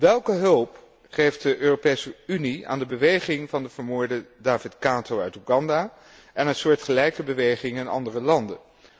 Welke hulp geeft de Europese Unie aan de beweging van de vermoorde David Kato uit Oeganda en aan soortgelijke bewegingen in andere landen?